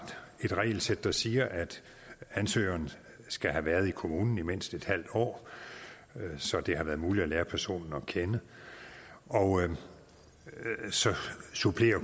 et regelsæt der siger at ansøgeren skal have været i kommunen i mindst et halvt år så det har været muligt at lære personen at kende og så supplerer